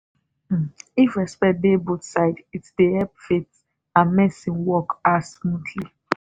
um if respect dey both side it dey help faith and medicine work ah smoothly